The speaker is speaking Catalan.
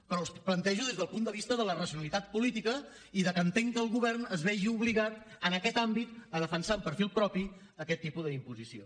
però els plantejo des del punt de vista de la racionalitat política i que entenc que el govern es vegi obligat en aquest àmbit a defensar amb perfil propi aquest tipus d’imposició